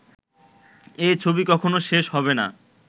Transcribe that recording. এ ছবি কখনো শেষ হবে না